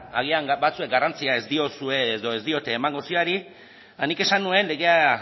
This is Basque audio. agian batzuek garrantzia ez diozue edo ez diote emango zioari eta nik esan nuen legeak